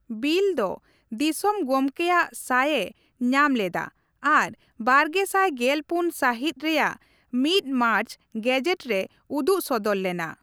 Bill ᱫᱚ ᱫᱤᱥᱚᱢ ᱜᱚᱢᱠᱮᱭᱟᱜ ᱥᱟᱭᱼᱮ ᱧᱟᱢ ᱞᱮᱫᱟ ᱟᱨ ᱵᱟᱨᱜᱮᱥᱟᱭ ᱜᱮᱞᱯᱩᱱ ᱥᱟᱹᱦᱤᱛ ᱨᱮᱭᱟᱜ ᱑ ᱢᱟᱨᱪ ᱜᱮᱡᱮᱴ ᱨᱮ ᱩᱫᱩᱜᱥᱚᱫᱚᱨ ᱞᱮᱱᱟ ᱾